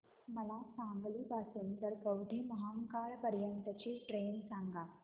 मला सांगली पासून तर कवठेमहांकाळ पर्यंत ची ट्रेन सांगा